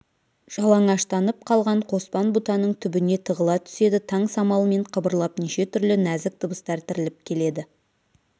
жалаңаштанып қалған қоспан бұтаның түбіне тығыла түседі таң самалымен қыбырлап неше түрлі нәзік дыбыстар тіріліп келеді